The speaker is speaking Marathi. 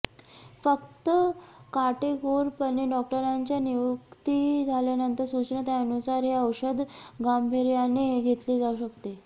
फक्त काटेकोरपणे डॉक्टरांच्या नियुक्ती झाल्यानंतर सूचना त्यानुसार हे औषध गांभीर्याने घेतले जाऊ शकते